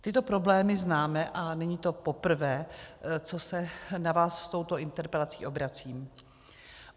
Tyto problémy známe a není to poprvé, co se na vás s touto interpelací obracím.